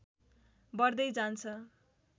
बढ्दै जान्छ